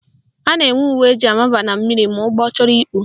A na-enwe uwe eji amaba na mmiri ma ụgbọ chọrọ ikpu